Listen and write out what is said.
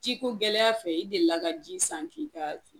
Ji ko gɛlɛya fɛ i delila ka ji san k'i ka